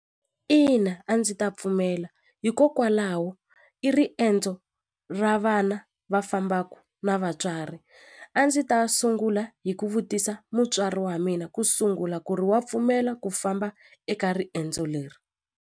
Ina a ndzi ta pfumela hikokwalaho i riendzo ra vana va fambaku na vatswari a ndzi ta sungula hi ku vutisa mutswari wa mina ku sungula ku ri wa pfumela ku famba eka riendzo leri.